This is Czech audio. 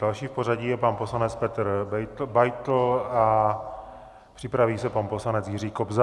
Další v pořadí je pan poslanec Petr Beitl a připraví se pan poslanec Jiří Kobza.